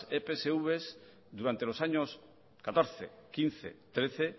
epsv durante los años catorce quince trece